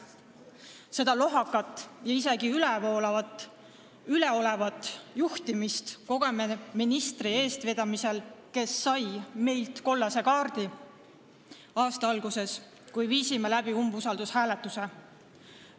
Niisugust lohakat ja isegi üleolevat juhtimist kogeme ministri eestvedamisel, kes sai meilt kollase kaardi aasta alguses, kui viisime läbi umbusaldushääletuse.